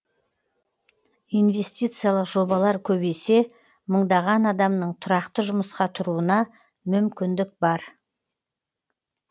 инвестициялық жобалар көбейсе мыңдаған адамның тұрақты жұмысқа тұруына мүмкіндік бар